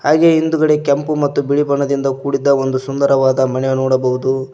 ಹಾಗೆ ಹಿಂದ್ಗಡೆ ಕೆಂಪು ಮತ್ತು ಬಿಳಿ ಬಣ್ಣದಿಂದ ಕೂಡಿದ ಒಂದು ಸುಂದರವಾದ ಮನೆ ನೋಡಬಹುದು.